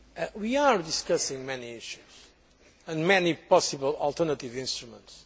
We are discussing many issues and many possible alternative instruments.